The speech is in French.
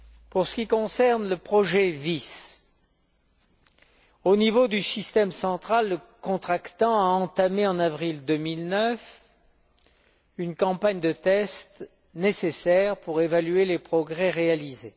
Pour ce qui concerne le projet VIS, au niveau du système central, le contractant a entamé en avril 2009 une campagne de tests nécessaires pour évaluer les progrès réalisés.